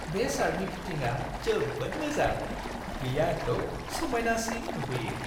बे शार्टनि फिटिंआ जोबोद मोजां। बेयो आंखौ समायनासिन नुहोयो।